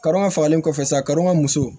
Karɔ fagalen kɔfɛ sa ka muso